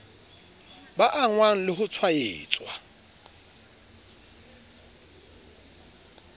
ba angwang le ho tshwaetswa